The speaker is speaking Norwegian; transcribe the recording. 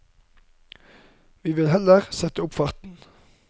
Vi vil heller sette opp farten.